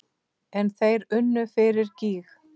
En þeir unnu fyrir gýg.